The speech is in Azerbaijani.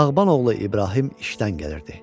Bağban oğlu İbrahim işdən gəlirdi.